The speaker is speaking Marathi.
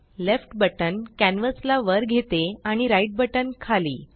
लेफ्ट बटन कॅन्वस ला वर घेते आणि राइट बटन खाली